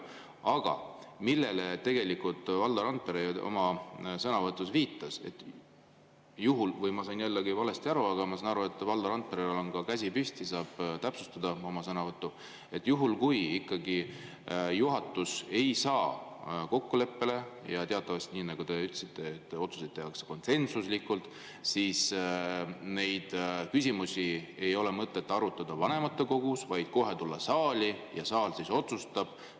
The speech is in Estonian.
Aga tegelikult Valdo Randpere oma sõnavõtus viitas sellele – vahest ma sain jällegi valesti aru, Valdo Randperel on ka käsi püsti ja ta saab täpsustada oma sõnavõttu –, et kui ikkagi juhatus ei saa kokkuleppele ja teatavasti, nii nagu te ütlesite, otsuseid tehakse konsensuslikult, siis neid küsimusi ei ole mõtet arutada vanematekogus, vaid parem kohe tulla saali ja saal otsustab.